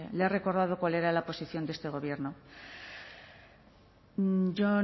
le he recordado cuál era la posición de este gobierno yo